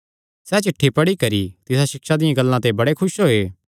सैह़ चिठ्ठी पढी करी तिसा सिक्षा दियां गल्लां ते बड़े खुस होये